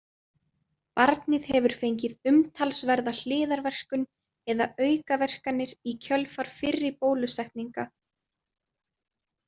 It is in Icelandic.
Barnið hefur fengið umtalsverða hliðarverkun eða aukaverkanir í kjölfar fyrri bólusetninga.